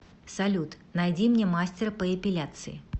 салют найди мне мастера по эпиляции